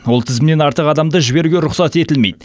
ол тізімнен артық адамды жіберуге рұқсат етілмейді